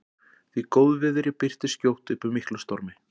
Því góðviðri birtist skjótt upp úr miklum stormi.